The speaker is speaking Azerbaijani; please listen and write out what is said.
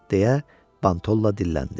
deyə Bantolla dilləndi.